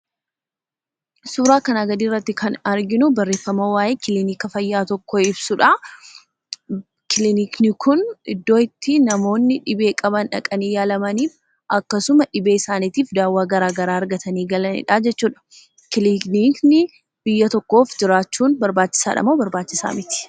Suuraa kanaa gadi irratti kan arginu barreeffama waa'ee kiliinika fayyaa tokko ibsudha. Kilinikni kun iddoo itti namoonni dhibee qaban dhaqanii yaalamanii fi akkasuma dhibee isaaniitif daawwaa garaagaraa argatanii galanidha jechuudha. Kiliikni biyya tokkof jiraachuuf barbaachiisadhamoo barbaachisaa miti?